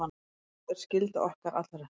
Sú er skylda okkar allra.